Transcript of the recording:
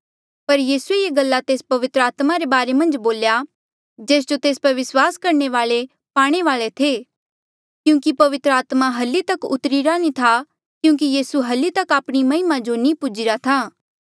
पर यीसूए ये गल्ला तेस पवित्र आत्मा रे बारे मन्झ बोल्या जेस जो तेस पर विस्वास करणे वाले पाणे वाले थे क्यूंकि पवित्र आत्मा हल्ली तक उतरीरा नी था क्यूंकि यीसू हल्ली तक आपणी महिमा जो नी पुज्ही रा था